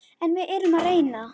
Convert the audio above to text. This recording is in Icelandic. En við yrðum að reyna.